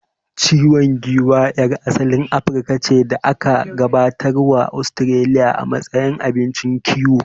Ciwan giwa yar asalin Afirka ce da aka gabatar wa Ostiraliya a matsayin abincin kiwo